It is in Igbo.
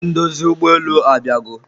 onye ndozi ụgbọelu abịago